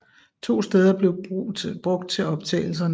To steder blev brug til optagelserne